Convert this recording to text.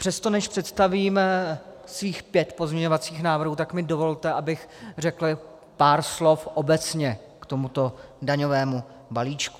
Přesto, než představím svých pět pozměňovacích návrhů, tak mi dovolte, abych řekl pár slov obecně k tomuto daňovému balíčku.